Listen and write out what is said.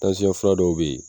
fura dɔw bɛ yen